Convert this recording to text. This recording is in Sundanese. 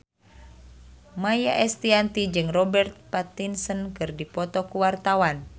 Maia Estianty jeung Robert Pattinson keur dipoto ku wartawan